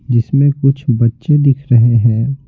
जिसमें कुछ बच्चे दिख रहे हैं।